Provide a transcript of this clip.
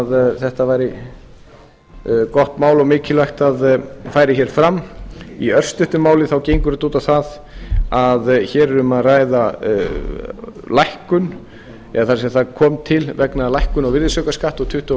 þetta væri gott mál og mikilvægt að fari hér fram í örstuttu máli þá gengur þetta út á að hér er um að ræða lækkun eða sem sagt það kom til vegna lækkunar úr virðisaukaskatti úr tuttugu og